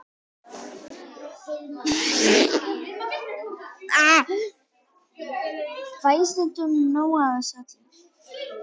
Fæ ég stundum nóg af þessu öllu?